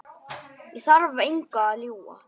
Ég þarf engu að ljúga.